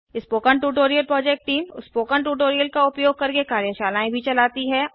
spoken tutorial project team spoken tutorial का उपयोग करके कार्यशालाएँ भी चलाती है